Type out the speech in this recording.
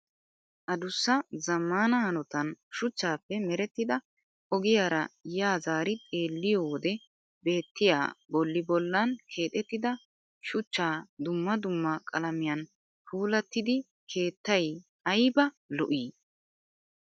Adussa zammaana hanotan shuchchappe merettidaa ogiyaara yaa zaari xeelliyoo wode beettiyaa bolli bollan keexettida shuchcha dumma dumma qalamiyan puulattidi keettayi ayiba lo'ii